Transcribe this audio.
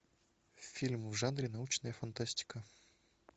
фильм в жанре научная фантастика